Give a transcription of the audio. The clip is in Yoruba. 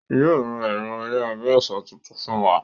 Yóò ra ẹ̀rọ ayárabíàṣá tuntun fún wa